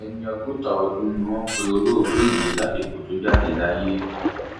ẹni ọgọta ọdún ni wọn pe olóògbé yìí lásìkò tó jáde láyé